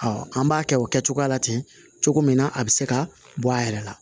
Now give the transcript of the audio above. an b'a kɛ o kɛcogo la ten cogo min na a bɛ se ka bɔ a yɛrɛ la